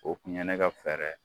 O kun ye ne ka fɛɛrɛ ye.